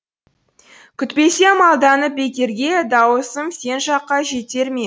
күтпесем алданып бекерге дауысым сен жаққа жетер ме